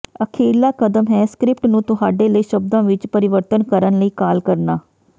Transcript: ਅਖੀਰਲਾ ਕਦਮ ਹੈ ਸਕ੍ਰਿਪਟ ਨੂੰ ਤੁਹਾਡੇ ਲਈ ਸ਼ਬਦਾਂ ਵਿਚ ਪਰਿਵਰਤਨ ਕਰਨ ਲਈ ਕਾਲ ਕਰਨਾ